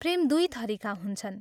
प्रेम दुइ थरीका हुन्छन्।